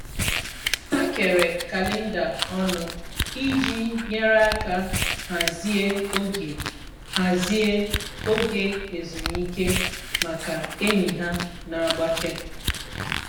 Ha kere kalenda ọnụ iji nyere aka hazie oge hazie oge ezumike maka enyi ha na-agbake.